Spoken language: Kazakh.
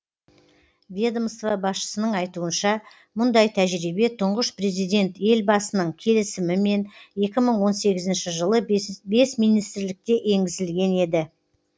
ведомство басшысының айтуынша мұндай тәжірибе тұңғыш президент елбасының келісімімен екі мың он сегізінші жылы бес министрлікте енгізілген еді